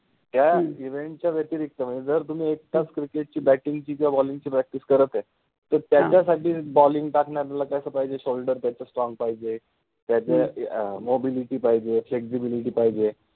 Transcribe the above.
ह्या event च्या व्यतिरिक्त मनजे जर तुम्हि एक तास cricket चि batting चि किव्वा bowling चि practice करत आहे तर त्याच्यासाठि bowling टाकनार्याला कसा पाहिजे shoulder त्याचे strong पाहिजे, अ अ mobility पाहिजे, flexibility पाहिजे